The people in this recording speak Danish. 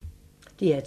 DR2